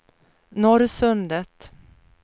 Norrsundet